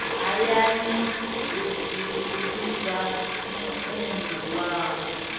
hayani u vhidza muunḓi wawe